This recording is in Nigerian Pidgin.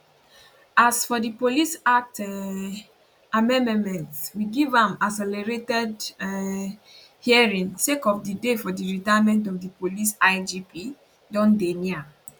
as for di police act um amendmenment we give am accelerated um hearing sake of di day for di retirement of di police igp don dey near